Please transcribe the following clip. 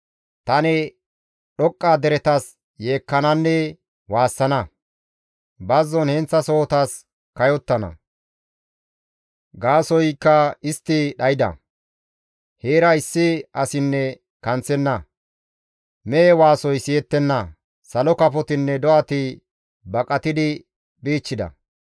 Tani dhoqqa deretas yeekkananne waassana; bazzon heenththasohotas kayottana. Gaasoykka istti dhayda; heera issi asinne kanththenna. Mehe waasoy siyettenna; salo kafotinne do7ati baqatidi bichchida.